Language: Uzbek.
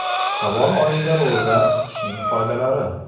Shavvol oyida ro‘za tutishning foydalari.